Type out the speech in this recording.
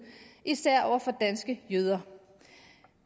især over for danske jøder